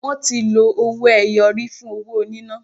Wọ́n ti lọ owó ẹyọ rí fún owó níná.